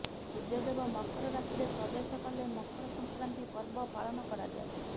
ସୂର୍ଯ୍ୟଦେବ ମକର ରାଶିରେ ପ୍ରବେଶ କଲେ ମକର ସଂକ୍ରାନ୍ତି ପର୍ବ ପାଳନ କରାଯାଏ